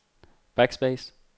backspace